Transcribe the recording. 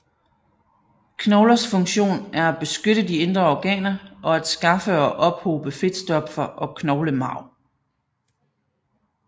Knoglers funktion er at beskytte de indre organer og at skaffe og ophobe fedtstoffer og knoglemarv